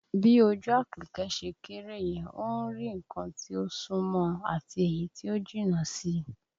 Bí ojú Àpèkẹ́ ṣe kéré yẹn, ó ń rí nǹkan tí ó sún mọ́ ọn àti èyí tí ó jìnnà sí i